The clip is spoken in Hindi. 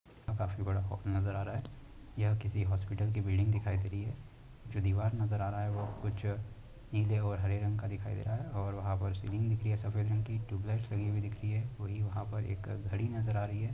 काफी बड़ा हॉल नजर आ रहा है। यह किसी हॉस्पिटल की बिल्डिंग दिखाई दे रही है जो दीवार नजर आ रहा है वह कुछ निले और हरे रंग का दिखाई दे रहा है और वहाँ पर सीलिंग दिख रही है। सब सफेद रंग की ट्यूबलाइट लगी हुई दिख रही है। वही वहाँ पर एक घड़ी नजर आ रही है।